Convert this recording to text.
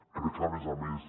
crec a més a més